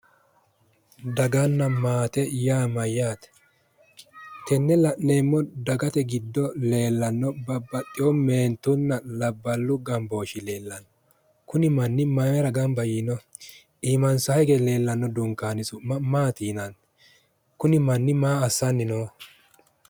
Daganna maaye yaa mayyaate? Tenne la'neemmo dagate giddo leellanno babbaxxeyo meentunna labballu gambooshshi leellanno kuni manni mayiira gamba yiinoho? Imansanni hige leellanno dunkaani su'ma maati yinanni? Kunni manni maa assanni nooho?